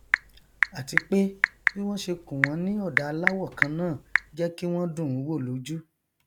àti pé bí wọn ṣe kùn wọn ní ọdà àláwọ kánnáà jẹ kí wọn dùnún wò lójú